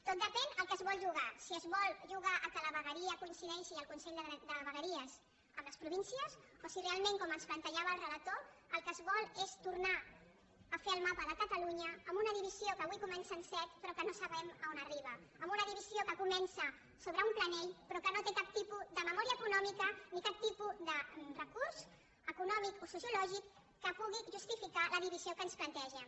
tot depèn de a què es vol jugar si es vol jugar que la vegueria coincideixi el consell de vegueria amb les províncies o si realment com ens plantejava el relator el que es vol és tornar a fer el mapa de catalunya amb una divisió que avui comença amb set però que no sabem a on arriba amb una divisió que comença sobre un plànol però que no té cap tipus de memòria econòmica ni cap tipus de recurs econòmic o sociològic que pugui justificar la divisió que ens plantegen